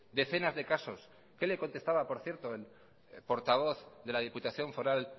decenas de casos qué le contestaba por cierto el portavoz de la diputación foral